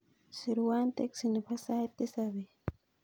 Sirwan teksi nepo sait tisap bet